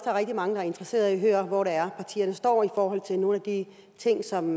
er rigtig mange der er interesseret i at høre hvor det er partierne står i forhold til nogle af de ting som